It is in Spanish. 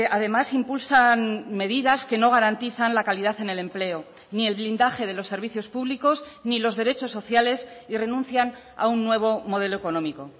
además impulsan medidas que no garantizan la calidad en el empleo ni el blindaje de los servicios públicos ni los derechos sociales y renuncian a un nuevo modelo económico